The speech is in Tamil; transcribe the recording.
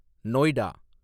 நோய்டா